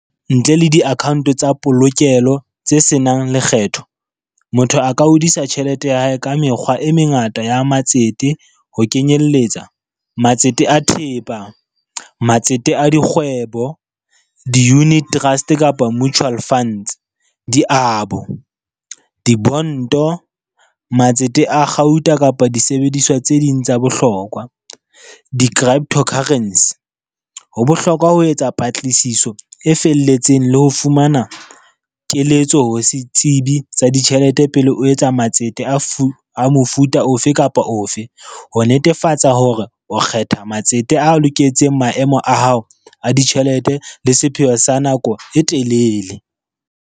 Ntle le di-account tsa polokelo tse senang lekgetho, motho a ka hodisa tjhelete ya hae ka mekgwa e mengata ya matsete, ho kenyelletsa matsete a thepa, matsete a dikgwebo, di-unit trust kapa mutual funds, di abo, di bonto, matsete a kgauta kapa disebediswa tse ding tsa bohlokwa, di-crypto currency. Ho bohlokwa ho etsa patlisiso e felletseng le ho fumana keletso ho setsibi sa ditjhelete pele o etsa matsete a mofuta ofe kapa ofe, ho netefatsa hore o kgetha matsete a loketseng maemo a hao a ditjhelete le sepheo sa nako e telele.